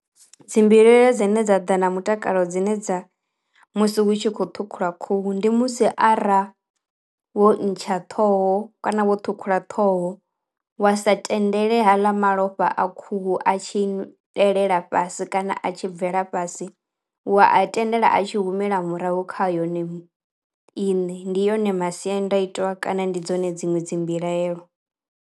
Dzimbilaelo dzine dza ḓa na mutakalo dzine dza musi hu tshi khou ṱhukhulwa khuhu ndi musi ara wo ntsha ṱhoho kana wo ṱhukhula ṱhoho wa sa tendele ha ḽa malofha a khuhu a tshielela fhasi kana a tshi bvela fhasi, wa a tendela a tshi humela murahu kha yone iṋe. Ndi yone masiandaitwa kana ndi dzone dziṅwe dzi mbilahelo.